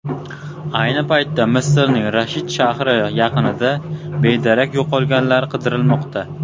Ayni paytda Misrning Rashid shahri yaqinida bedarak yo‘qolganlar qidirilmoqda.